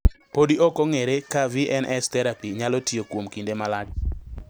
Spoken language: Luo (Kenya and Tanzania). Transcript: Podi okong`ere ka VNS therapy nyalo tiyo kuom kinde malach.